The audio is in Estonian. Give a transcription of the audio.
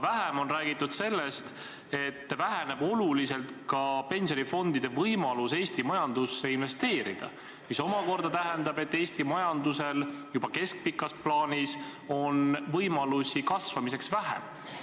Vähem on räägitud sellest, et oluliselt väheneb pensionifondide võimalus Eesti majandusse investeerida, mis omakorda tähendab, et Eesti majandusel on juba keskpikas plaanis võimalusi kasvamiseks vähem.